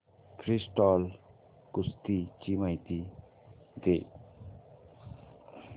freestyle कुस्ती ची माहिती दे